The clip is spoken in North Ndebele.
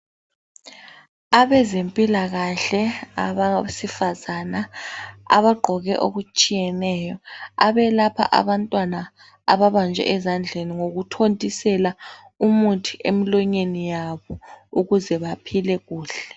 Abezimpilakahle abesifazana abagqoke okutshiyeneyo abelapha abantwana ababanjwe ezandleni ngokuthontisela umuthi emilonyeni yabo ukuze baphile kuhle.